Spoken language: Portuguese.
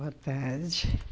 Boa tarde.